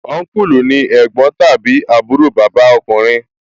Ọnkulu ni ẹ̀gbọ́n tàbí àbúrò bàbá ọkùnrin